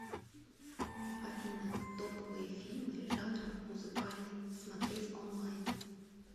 афина топовые фильмы жанра музыкальный смотреть онлайн